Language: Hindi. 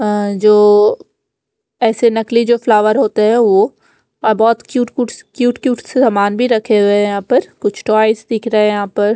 अ जो ऐसे नकली जो फ्लावर होते हैं वो अ बहुत क्यूट क्यूट क्यूट क्यूट से सामान भी रखे हुए हैं कुछ टाॅयस दिख रहे हैं यहां पर--